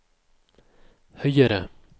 høyere